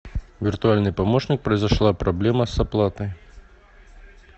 виртуальный помощник произошла проблема с оплатой